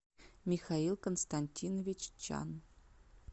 михаил константинович чан